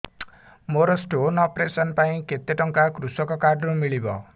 ମୋର stone operation ପାଇଁ କେତେ ଟଙ୍କା କୃଷକ କାର୍ଡ ରୁ ମିଳିବ